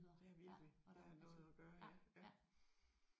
Det er virkelig. Der er noget at gøre ja